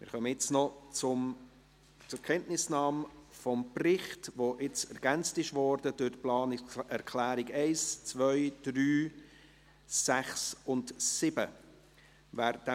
Jetzt kommen wir noch zur Kenntnisnahme des Berichts, welcher durch die Planungserklärungen 1, 2, 3, 6 und 7 ergänzt worden ist.